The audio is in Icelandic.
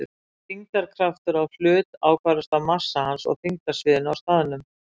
Þyngdarkraftur á hlut ákvarðast af massa hans og þyngdarsviðinu á staðnum.